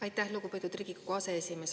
Aitäh, lugupeetud Riigikogu aseesimees!